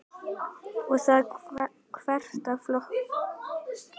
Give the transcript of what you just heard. Og það þvert á flokka.